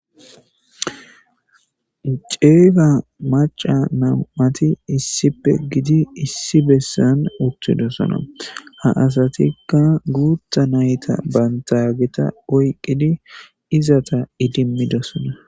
ceefa maca nam7ati issippe gidi issi bessan uttidosona ha asatikka guutha nayta bantagita oyqqidi izata idimmidosona